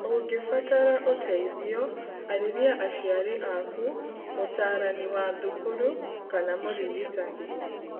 Ũngĩbatara ũteithio arĩria aciari aku, mũtarani wa thukuru kana mũrigitani.